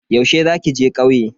Yaushe za ki je kauye?